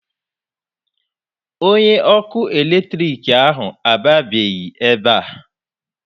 Onye ọkụ eletrik ahụ abịabeghị ebe a.